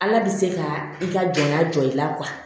Ala bɛ se ka i ka jɔnya jɔ i la